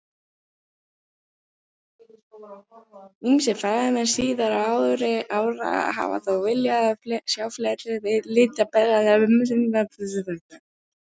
Ýmsir fræðimenn síðari ára hafa þó viljað sjá fleiri litbrigði í myndinni en svo.